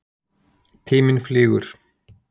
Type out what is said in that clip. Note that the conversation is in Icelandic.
Tíminn flýgur.